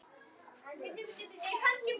og dálítið kvíðin.